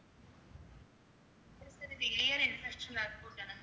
இது sir